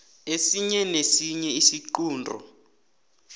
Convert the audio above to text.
esinye nesinye isiqunto